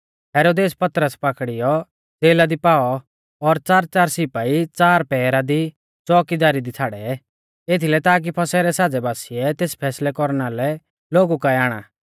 हेरोदेसै पतरस पाकड़ीयौ ज़ेला दी पाऔ और च़ारच़ार सिपाई च़ार पहरा दी च़ोउकीदारी दी छ़ाड़ै एथीलै ताकी फसह रै साज़ै बासिऐ तेस फैसलै कौरना लै लोगु काऐ आणा